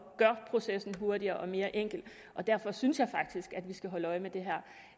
gør processen hurtigere og mere enkel og derfor synes jeg faktisk at vi skal holde øje med det